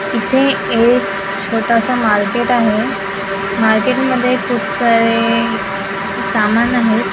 इथे एक छोटासा मार्केट आहे मार्केट मध्ये खूप सारे सामान आहेत.